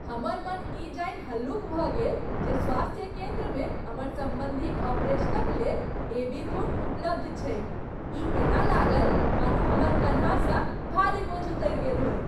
हमर मन ई जानि हल्लुक भऽ गेल जे स्वास्थ्य केन्द्रमे हमर सम्बन्धीक ऑपरेशनक लेल एबी खून उपलब्ध छैक। ई एना लागल मानू हमर कन्हासँ भारी बोझ उतरि गेल होय।